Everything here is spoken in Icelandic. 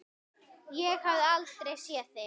Ég hafði aldrei séð þig.